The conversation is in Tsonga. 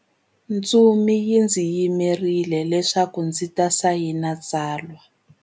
Ntsumi yi ndzi yimerile leswaku ndzi ta sayina tsalwa.